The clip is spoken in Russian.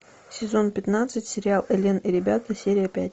сезон пятнадцать сериал элен и ребята серия пять